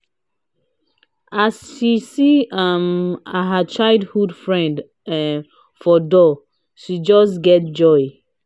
as she see um her childhood friend um for her door she just get joy.